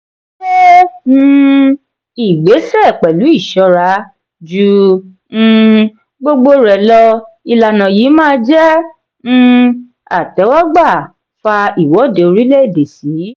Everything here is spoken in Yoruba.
se um ìgbésẹ pẹlu ìṣora; ju um gbogbo rẹ lọ ìlànà yìí má jé um àtéwógbà fà iwọde orílè èdè sì.